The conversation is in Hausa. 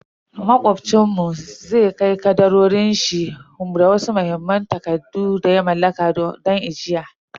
Macobcin mu zai kai kadarorin shi da wasu muhimman takardu da ya mallaka banki don ajiya.